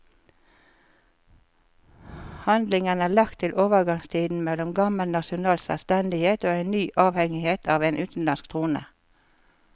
Handlingen er lagt til overgangstiden mellom gammel nasjonal selvstendighet og en ny avhengighet av en utenlandsk trone.